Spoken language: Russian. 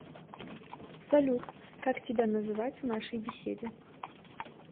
салют как тебя называть в нашей беседе